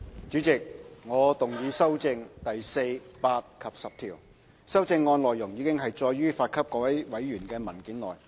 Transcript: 主席，我動議修正第4、8及10條。修正案內容已載於發給各位委員的文件內。